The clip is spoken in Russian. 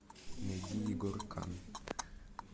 найди егор канн